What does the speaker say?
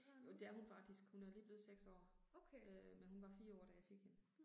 Jo det er hun faktisk, hun er lige blevet 6 år. Øh men hun var 4 år, da jeg fik hende